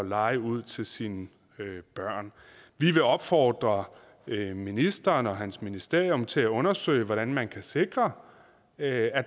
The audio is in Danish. leje ud til sine børn vi vil opfordre ministeren og hans ministerium til at undersøge hvordan man kan sikre at